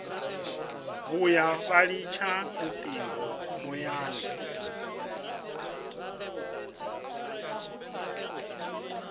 vhuya vha litsha lutingo muyani